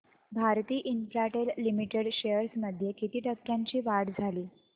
Bharti Infratel limited shares मध्ये किती टक्क्यांची वाढ झाली